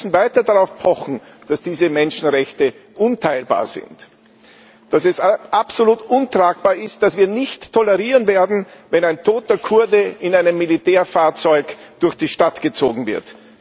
Wir müssen weiter darauf pochen, dass diese Menschenrechte unteilbar sind, dass es absolut untragbar ist, dass wir es nicht tolerieren werden, wenn ein toter Kurde in einem Militärfahrzeug durch die Stadt gezogen wird.